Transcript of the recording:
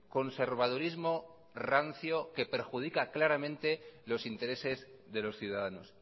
conservadurismo rancio que perjudica claramente los intereses de los ciudadanos